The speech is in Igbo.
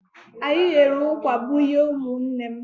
Anyị ghere ụkwà bunye ụmụnne m.